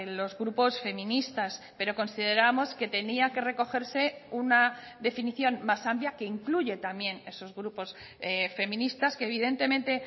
los grupos feministas pero consideramos que tenía que recogerse una definición más amplia que incluye también esos grupos feministas que evidentemente